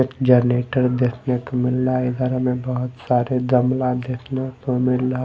एक जनरेटर देखने को मिल रहा है इधर हमें बहुत सारे दमला देखने को मिल--